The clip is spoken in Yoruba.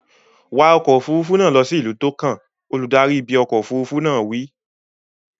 Wa ọkọ̀ òfuurufú náà lọ sí ìlú tó kàn! Olùdarí ibi ọkọ̀ òfuurufú náà wí.